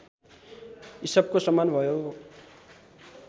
इसपको सम्मान भयो